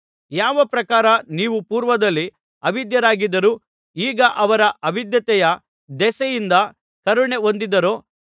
ಯಾವ ಪ್ರಕಾರ ನೀವು ಪೂರ್ವದಲ್ಲಿ ಅವಿಧೇಯರಾಗಿದ್ದರೂ ಈಗ ಅವರ ಅವಿಧೇಯತೆಯ ದೆಸೆಯಿಂದ ಕರುಣೆ ಹೊಂದಿದ್ದೀರೋ